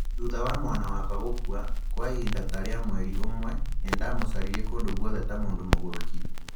"Thutha wa mwana wakwa gũkua, kwa ihinda ta rĩa mweri ũmwe, nĩ ndamũcaririe kũndũ guothe ta mũndũ mũgũrũki"